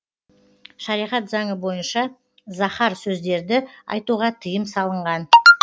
шариғат заңы бойынша заһар сөздерді айтуға тыйым салынған